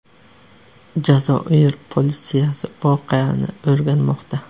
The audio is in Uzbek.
Jazoir politsiyasi voqeani o‘rganmoqda.